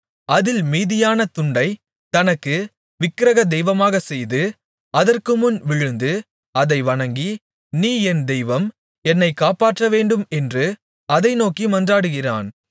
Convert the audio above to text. அதில் மீதியான துண்டைத் தனக்கு விக்கிரகதெய்வமாகச் செய்து அதற்குமுன் விழுந்து அதை வணங்கி நீ என் தெய்வம் என்னை காப்பாற்றவேண்டும் என்று அதை நோக்கி மன்றாடுகிறான்